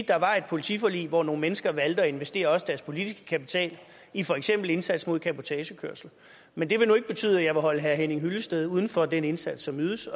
der var et politiforlig hvor nogle mennesker valgte at investere også deres politiske kapital i for eksempel indsats mod cabotagekørsel men det vil nu ikke betyde at jeg vil holde herre henning hyllested uden for den indsats som ydes